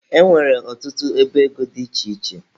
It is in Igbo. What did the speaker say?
E nwere ọtụtụ ọba ego dị iche iche.